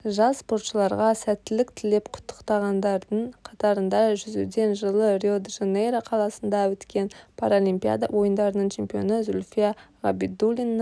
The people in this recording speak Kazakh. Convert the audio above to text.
жас спортшыларға сәттілік тілеп құттықтағандардың қатарында жүзуден жылы рио-де-жанейро қаласында өткен паралимпиада ойындарының чемпионы зүлфия ғабидуллина